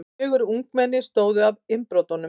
Fjögur ungmenni stóðu að innbrotum